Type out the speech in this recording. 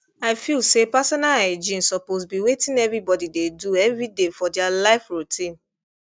i feel say personal hygiene suppose be wetin everybody dey do everyday for their life routine